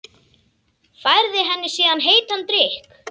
Færði henni síðan heitan drykk.